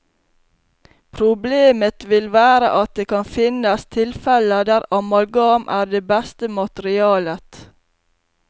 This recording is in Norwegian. Problemet vil være at det kan finnes tilfeller der amalgam er det beste materialet.